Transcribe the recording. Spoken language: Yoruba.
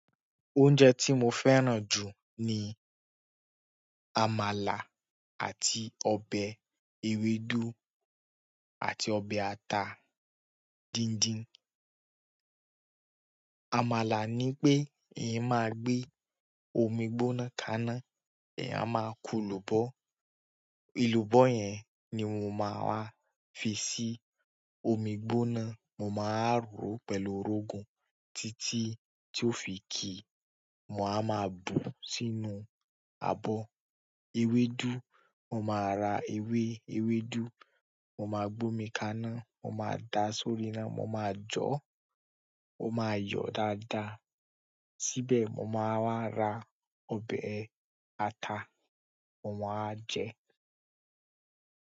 Oúnjẹ tí mo fẹ́ràn jù ni àmàlà àti ọbẹ̀ ewédú àti ọbẹ̀ ata díndín. Àmàlà ni pé èyin máa gbẹ omi gbóná kaná, èyàn a máa kun elùbọ́. Elùbọ́ yẹn ni mo máa wa fi sí omi gbóná, mo máa wa rọ̀ pẹ̀lú òrógun títí tí ó fi ki. Mo máa wa ma bù sínú àbò ewédú. Mo máa ra ewé ewédú, mo máa gbómi kaná, mo máa da sórí iná, mo máa jọ̀ọ́, ó máa yọ̀ dáadáa. Síbẹ̀ mo máa wá ra ọbẹ̀ ata, mo máa jẹ.